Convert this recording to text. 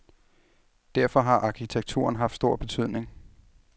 Derfor har arkitekturen haft stor betydning.